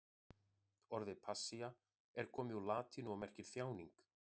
Orðið passía er komið úr latínu og merkir þjáning.